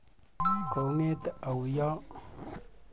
Kong'ete au yo?